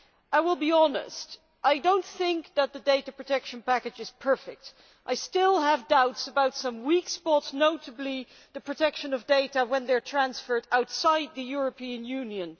I will be honest and say that I do not think the Data Protection Package is perfect, and I still have doubts about some weak spots notably the protection of data when they are transferred outside the European Union.